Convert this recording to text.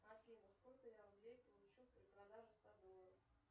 афина сколько я рублей получу при продаже ста долларов